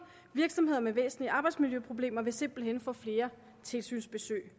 virksomheder med væsentlige arbejdsmiljøproblemer vil simpelt hen få flere tilsynsbesøg